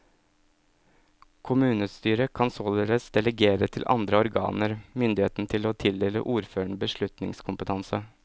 Kommunestyret kan således delegere til andre organer myndigheten til å tildele ordføreren beslutningskompetanse.